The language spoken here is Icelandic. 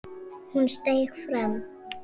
Hún steig fram.